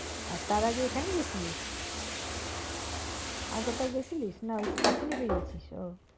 আর তার আগে এখানে গেছিলি? আর কোথাও গেছিলি নাকি তখনি বেরিয়েছিলি? ও।